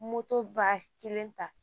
Moto ba kelen ta